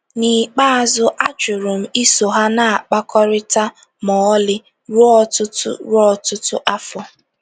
N'ikpeazụ ajụrụ m iso ha na-akpakọrịta ma ọlị - ruo ọtụtụ ruo ọtụtụ afọ.